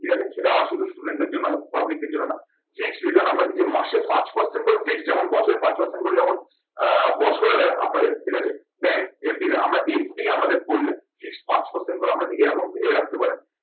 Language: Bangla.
ঠিক আছে সেটা শুধু student দের জন্য public এর জন্য না। আমরা যদি আমরা যদি মাসে পাঁচ percent করে যেমন বছরে পাঁচ percent করে যেমন আহ বছরে দেয় আপনাদের ঠিক আছে bank FD দেয়। আমরা FD আমাদের করলে পাঁচ percent করে আমরা এরকম রাখতে পারেন।